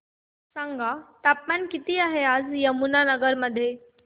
सांगा तापमान किती आहे आज यमुनानगर मध्ये